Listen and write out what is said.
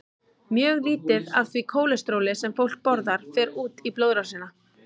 Mjög lítið af því kólesteróli sem fólk borðar fer út í blóðrásina.